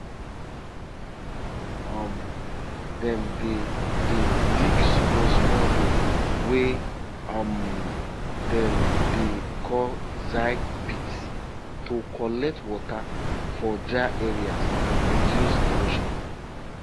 kale no like water wey just um dey stay one place um na why i dey use small small sand hill plant am now instead of flat ground